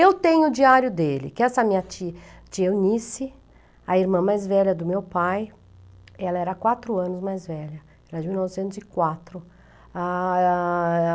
Eu tenho o diário dele, que essa minha tia tia Eunice, a irmã mais velha do meu pai, ela era quatro anos mais velha, ela era de mil novecentos e quatro. Ah, ah...